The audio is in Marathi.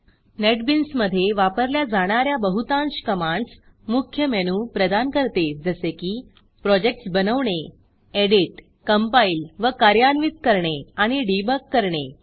नेटबीन्समधे वापरल्या जाणा या बहुतांश कमांडस मुख्य मेनू प्रदान करते जसे की प्रोजेक्टस बनवणे एडिट कंपाईल व कार्यान्वित करणे आणि डीबग करणे